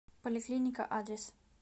поликлиника адрес